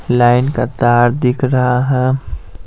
Line का तार दिख रहा है।